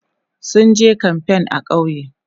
sunje kamfain a ƙauye